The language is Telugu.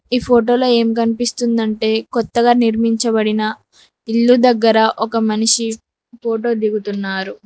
ఈ ఫోటోలో ఏమి కనిపిస్తుంది అంటే కొత్తగా నిర్మించబడిన ఇల్లు దగ్గర ఒక మనిషి ఫోటో దిగుతున్నారు.